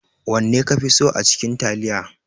wanne kafi so acikin taliya?